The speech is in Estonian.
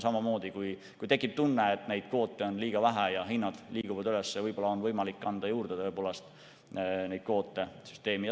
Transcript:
Samamoodi, kui tekib tunne, et neid kvoote on liiga vähe ja hinnad liiguvad üles, on võib-olla võimalik neid kvoote süsteemi juurde anda.